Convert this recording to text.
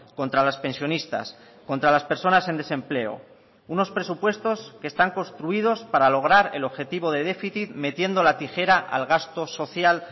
contra los pensionistas contra las personas en desempleo unos presupuestos que están construidos para lograr el objetivo de déficit metiendo la tijera al gasto social